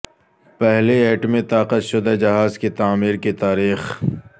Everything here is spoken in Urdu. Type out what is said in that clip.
پہلی ایٹمی طاقت شدہ جہاز کی تعمیر کی تاریخ